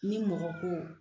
Ni mɔgɔ ko